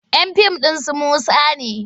Yan tim ɗin su Musa ne.